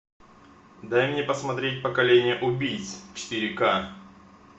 дай мне посмотреть поколение убийц четыре ка